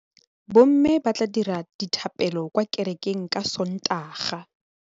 Bommê ba tla dira dithapêlô kwa kerekeng ka Sontaga.